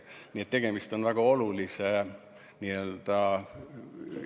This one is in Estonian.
Nii et tegemist on väga olulise osaga.